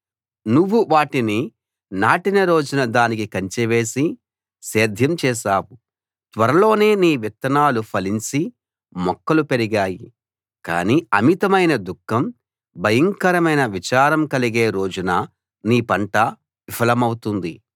నువ్వు వాటిని నాటిన రోజున దానికి కంచె వేసి సేద్యం చేశావు త్వరలోనే నీ విత్తనాలు ఫలించి మొక్కలు పెరిగాయి కానీ అమితమైన దుఃఖం భయంకరమైన విచారం కలిగే రోజున నీ పంట విఫలమవుతుంది